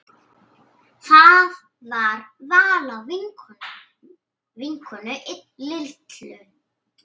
Það var Vala vinkona Lillu.